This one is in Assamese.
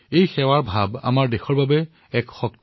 সেৱাৰ এই অনুভূতি আমাৰ সমাজৰ এক ডাঙৰ শক্তি